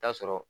Taa sɔrɔ